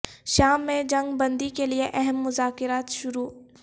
شام میں جنگ بندی کے لئے اہم مذاکرات شروع